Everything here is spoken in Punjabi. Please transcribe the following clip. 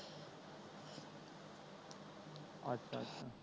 ਅੱਛਾ ਅੱਛਾ